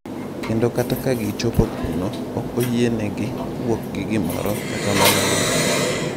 Kendo kata ka gichopo kuno, ok oyienegi wuok gi gimoro, kata mana lum.